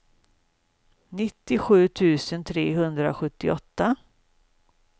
nittiosju tusen trehundrasjuttioåtta